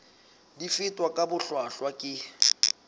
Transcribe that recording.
di fetwa ka bohlwahlwa ke